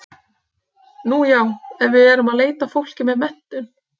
Nú já, en við erum að leita að fólki með menntun.